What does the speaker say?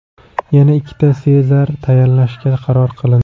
Yana ikkita Sezar tayinlashga qaror qilindi.